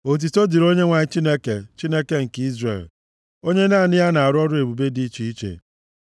Otuto dịrị Onyenwe anyị Chineke, Chineke nke Izrel, onye naanị ya na-arụ ọrụ ebube dị iche iche.